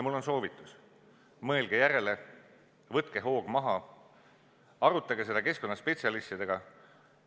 Mul on soovitus: mõelge järele, võtke hoog maha, arutage seda keskkonnaspetsialistidega.